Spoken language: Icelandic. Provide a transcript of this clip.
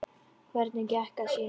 Hver gekk að sínu sæti.